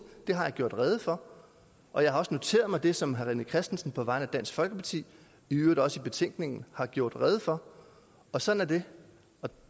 dem har jeg gjort rede for og jeg har også noteret mig det som herre rené christensen på vegne af dansk folkeparti i øvrigt også i betænkningen har gjort rede for og sådan er det